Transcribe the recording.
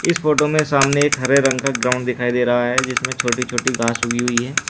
इस फोटो में सामने एक हरे रंग का ग्राउंड दिखाई दे रहा है जिसमें छोटी छोटी घास उगी हुई है।